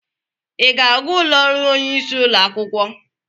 I ga-aga ụlọ ọrụ onyeisi ụlọ akwụkwọ?